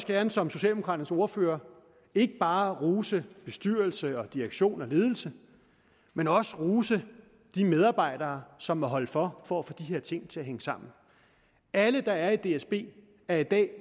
gerne som socialdemokraternes ordfører ikke bare rose bestyrelse og direktion og ledelse men også rose de medarbejdere som må holde for for at få de her ting til at hænge sammen alle der er i dsb er i dag